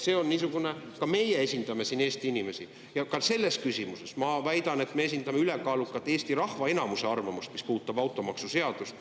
Ka meie esindame siin Eesti inimesi ja ka selles küsimuses, ma väidan, me esindame ülekaalukalt Eesti rahva enamuse arvamust, mis puudutab automaksuseadust.